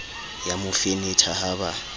ya mo fenetha ha ba